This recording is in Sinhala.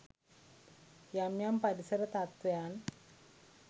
යම් යම් පරිසර තත්වයන්